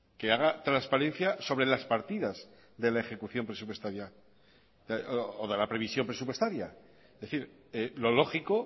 que haga transparencia sobre las partidas de la ejecución presupuestaria o de la previsión presupuestaria es decir lo lógico